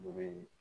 U bɛ